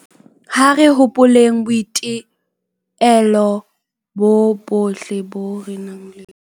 Ha re hopoleng boitelo boo bohle re ileng ra tlameha ho bo etsa e le ho kgina ho ata ha kokwanahloko